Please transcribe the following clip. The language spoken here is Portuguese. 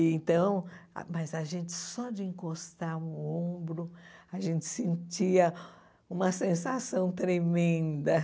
Então, mas a gente só de encostar o ombro, a gente sentia uma sensação tremenda.